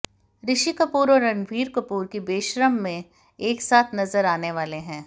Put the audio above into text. ऋषि कपूर और रणवीर कपूर की बेशर्म में एक साथ नजर आने वाले हैं